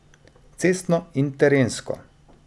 Cestno in terensko.